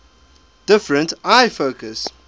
different eye focus